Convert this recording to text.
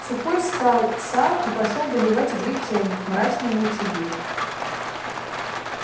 сухой встал сам и пошёл доливать и греть чайник мрачный и молчаливый